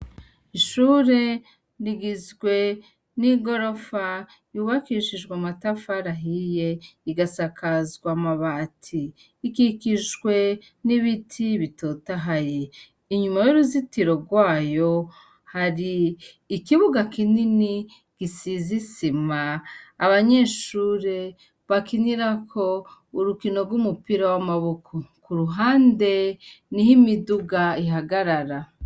Ishure rigizwe n'igorofa yubakishijwe amatafari ahiye rigasakazwa amabati ,ikikijwe n'ibiti bitotahaye, inyuma y'uruzitiro rwayo har'ikibuga kinini gisize isima ,abanyeshure bakinirako urukino rw'umupira w'amaboko, k' uruhande ni ho imiduga ihagarara.